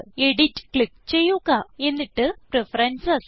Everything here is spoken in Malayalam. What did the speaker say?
എഡിറ്റ് ക്ലിക്ക് ചെയ്യുക എന്നിട്ട് പ്രഫറൻസസ്